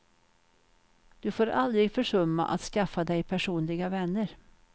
Du får aldrig försumma att skaffa dig personliga vänner.